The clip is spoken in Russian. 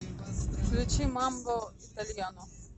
включи мамбо итальяно